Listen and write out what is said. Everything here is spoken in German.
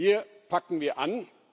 Hier packen wir an.